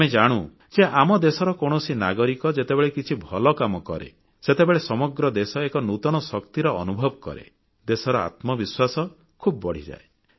ଆମେ ଜାଣୁ ଯେ ଆମ ଦେଶର କୌଣସି ନାଗରିକ ଯେତେବେଳେ କିଛି ଭଲ କାମ କରେ ସେତେବେଳେ ସମଗ୍ର ଦେଶ ଏକ ନୂତନ ଶକ୍ତିର ଅନୁଭବ କରେ ଦେଶର ଆତ୍ମବିଶ୍ୱାସ ବଢ଼ିଯାଏ